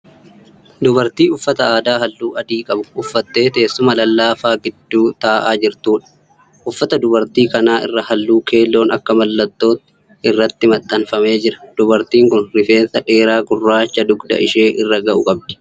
Dubartii uffata aadaa halluu adii qabu uffattee teessuma lallaafaa gidduu ta'aa jirtuudha. Uffata dubartii kanaa irra halluu keelloon akka mallattootti irratti maxxanfamee jira. Dubartiin kun rifeensa dheeraa gurraacha dugda ishee irra ga'u qabdi.